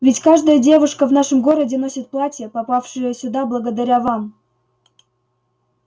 ведь каждая девушка в нашем городе носит платья попавшие сюда благодаря вам